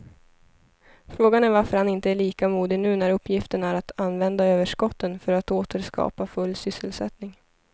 Frågan är varför han inte är lika modig nu när uppgiften är att använda överskotten för att åter skapa full sysselsättning.